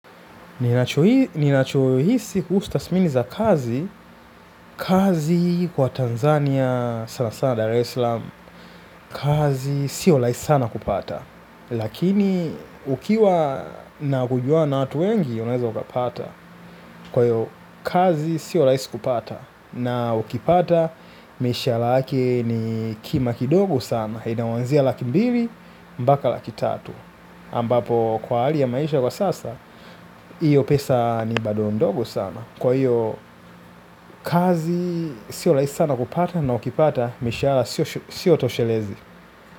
Ninachohisi kuhusu tathmini za kazi kazi kwa Tanzania sana sana Dar es Salam. Kazi sio rahisi sana kupata. Lakini ukiwa na kujuana na watu wengi unaweza ukapata. Kwa hiyo kazi sio rahisi kupata. Na ukipata mishahara yake ni kima kidogo sana inaanzia laki mbili mpaka laki tatu ambapo kwa hali ya maisha kwa sasa. Iyo pesa ni bado ndogo sama. Kwa hiyo kazi sio rahisi sana kupata na ukipata mishahara siyo toshelezi.